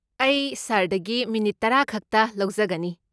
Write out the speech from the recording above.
ꯑꯩ ꯁꯥꯔꯗꯒꯤ ꯃꯤꯅꯤꯠ ꯇꯔꯥ ꯈꯛꯇ ꯂꯧꯖꯒꯅꯤ꯫